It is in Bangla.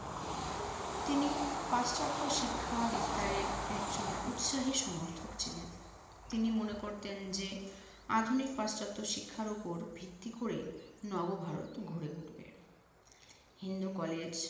তিনি পাশ্চাত্য শিক্ষা বিস্তারের একজন উৎসাহী সমর্থক ছিলেন। তিনি মনে করতেন যে, আধুনিক পাশ্চাত্য শিক্ষার উপর ভিত্তি করেই নব ভারত গড়ে উঠবে। হিন্দু কলেজ